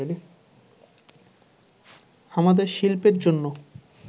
আমাদের শিল্পের জন্য